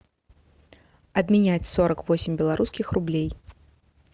обменять сорок восемь белорусских рублей